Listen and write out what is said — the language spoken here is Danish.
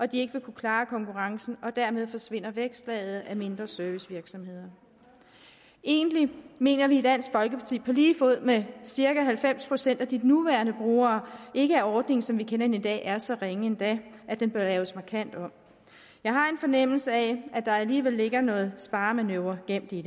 de ikke vil kunne klare konkurrencen dermed forsvinder vækstlaget af mindre servicevirksomheder egentlig mener vi i dansk folkeparti på lige fod med cirka halvfems procent af de nuværende brugere ikke at ordningen som vi kender den i dag er så ringe endda at den bør laves markant om jeg har en fornemmelse af at der alligevel ligger noget sparemanøvre gemt i